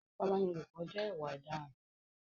ìfipábánilòpọ̀ jẹ́ ìwà òdaràn